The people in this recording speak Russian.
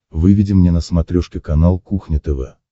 выведи мне на смотрешке канал кухня тв